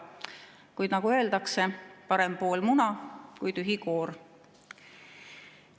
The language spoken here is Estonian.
Kuid nagu öeldakse, parem pool muna kui tühi koor.